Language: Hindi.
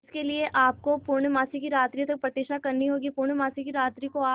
इसके लिए आपको पूर्णमासी की रात्रि तक प्रतीक्षा करनी होगी पूर्णमासी की रात्रि को आप